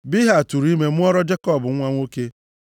Bilha tụụrụ ime mụọra Jekọb nwa nwoke.